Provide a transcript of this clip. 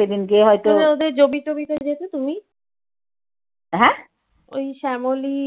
উনি ওদের জমি টবিতে যেতে তুমি? ওই শ্যামলী